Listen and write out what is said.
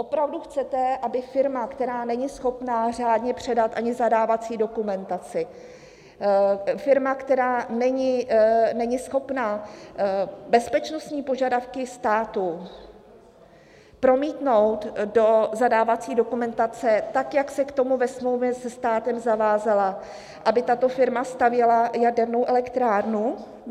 Opravdu chcete, aby firma, která není schopna řádně předat ani zadávací dokumentaci, firma, která není schopna bezpečnostní požadavky státu promítnout do zadávací dokumentace tak, jak se k tomu ve smlouvě se státem zavázala, aby tato firma stavěla jadernou elektrárnu?